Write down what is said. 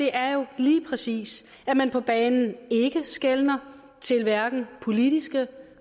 er jo lige præcis at man på banen ikke skeler til hverken politiske